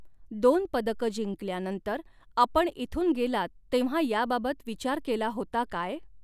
दोन पदकं जिंकल्यानंतर आपण इथून गेलात तेव्हा याबाबत विचार केला होता काय़.